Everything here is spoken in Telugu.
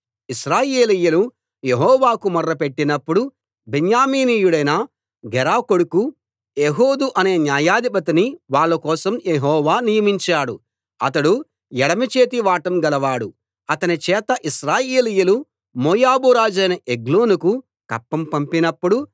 ఇశ్రాయేలీయులు యెహోవాకు మొర్రపెట్టినప్పుడు బెన్యామీనీయుడైన గెరా కొడుకు ఏహూదు అనే న్యాయాధిపతిని వాళ్ళ కోసం యెహోవా నియమించాడు అతడు ఎడమచేతి వాటం గలవాడు అతని చేత ఇశ్రాయేలీయులు మోయాబు రాజైన ఎగ్లోనుకు కప్పం పంపినప్పుడు